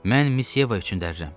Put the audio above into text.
Mən Miss Yeva üçün dərirəm.